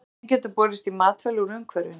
Efnin geta borist í matvæli úr umhverfinu.